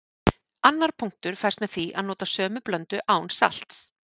Annar punktur fæst með því að nota sömu blöndu án salts.